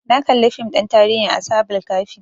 Na kalli fim ɗin tarihin ashabul kahfi